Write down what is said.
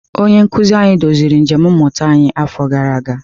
Onye nkuzi anyị duziri njem mmụta anyị afọ gara aga.